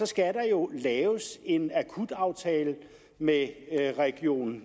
skal der jo laves en akutaftale med region